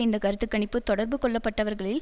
இந்த கருத்து கணிப்பு தொடர்பு கொள்ளப்பட்டவர்களில்